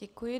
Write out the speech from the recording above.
Děkuji.